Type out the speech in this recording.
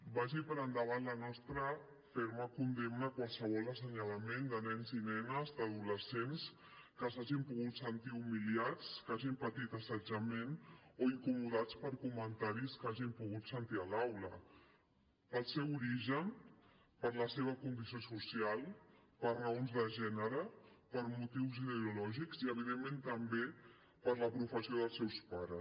vagi per endavant la nostra ferma condemna a qualsevol assenyalament de nens i nenes d’adolescents que s’hagin pogut sentir humiliats que hagin patit assetjament o incomodats per comentaris que hagin pogut sentir a l’aula pel seu origen per la seva condició social per raons de gènere per motius ideològics i evidentment també per la professió dels seus pares